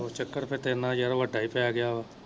ਉਹ ਚੱਕਰ ਫਿਰ ਤੇਰੇ ਨਾ ਯਾਰ ਵੱਡਾ ਈ ਪੈ ਗਿਆ ਵਾ।